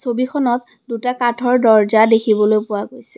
ছবিখনত দুটা কাঠৰ দৰ্জা দেখিবলৈ পোৱা গৈছে।